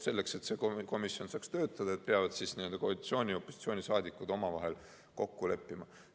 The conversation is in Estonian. Selleks, et see komisjon saaks töötada, peavad koalitsiooni‑ ja opositsiooniliikmed omavahel kokku leppima.